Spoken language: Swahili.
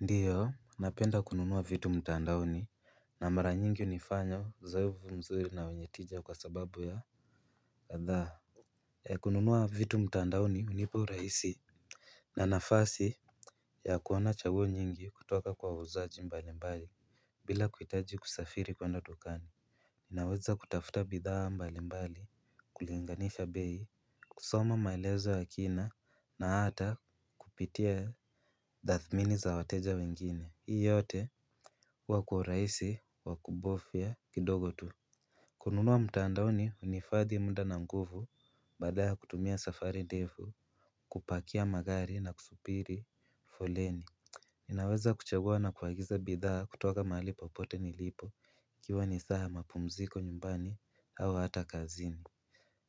Ndiyo napenda kununua vitu mtandaoni na mara nyingi unifanya uzoefu mzuri na wenye tija kwa sababu ya kadhaa kununua vitu mtandaoni hunipa urahisi. Na nafasi ya kuona chaguo nyingi kutoka kwa wauzaji mbalimbali bila kuhitaji kusafiri kwenda dukani. Ninaweza kutafuta bidhaa mbalimbali kulinganisha bei kusoma maelezo ya kina na hata kupitia tathimini za wateja wengine. Hii yote huwa kwa urahisi wa kubofya kidogo tu. Kununua mtandaoni hunifadhi muda na nguvu badala ya kutumia safari ndevu. Kupakia magari na kusubiri foleni ninaweza kuchagua na kuagiza bidhaa kutoka mahali popote nilipo ikiwa ni saa ya mapumziko nyumbani au hata kazini.